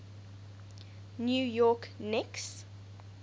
new york knicks